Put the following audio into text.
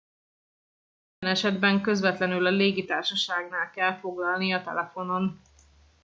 minden esetben közvetlenül a légitársaságnál kell foglalnia telefonon